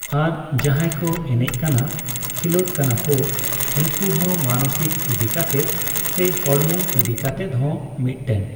ᱟᱨ ᱡᱟᱦᱟᱸᱭ ᱠᱚ ᱮᱱᱮᱡ ᱠᱟᱱᱟ ᱠᱷᱤᱞᱳᱴ ᱠᱟᱱᱟ ᱠᱚ ᱩᱱᱠᱩ ᱦᱚᱸ ᱢᱟᱱᱚᱥᱤᱠ ᱤᱫᱤᱠᱟᱛᱮᱫ ᱥᱮ ᱦᱚᱲᱢᱚ ᱤᱫᱤᱠᱟᱛᱮᱫ ᱦᱚᱸ ᱢᱤᱫᱽᱴᱮᱱ